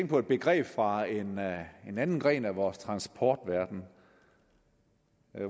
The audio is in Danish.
på et begreb fra en anden gren af vores transportverden